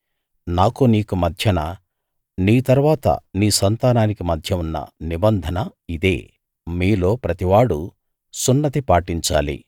నాకూ నీకూ మధ్యన నీ తరువాత నీ సంతానానికీ మధ్య ఉన్న నిబంధన ఇదే మీలో ప్రతి మగవాడూ సున్నతి పాటించాలి